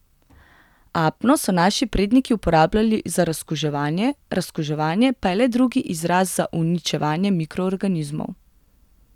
Apno so naši predniki uporabljali za razkuževanje, razkuževanje pa je le drugi izraz za uničevanje mikroorganizmov.